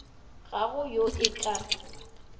ga go yo e ka